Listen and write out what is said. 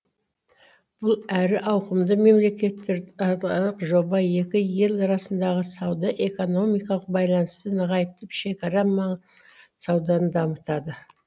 бұл әрі ауқымды мемлекеттер аралық жоба екі ел арасындағы сауда экономикалық байланысты нығайтып шекара ма саудан дамытады